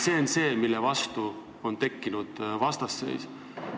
See on see, mille tõttu on tekkinud vastasseis.